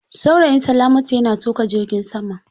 Saurayin salamatu yana tuƙa jirgin sama.